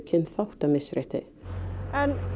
kynþáttamisrétti en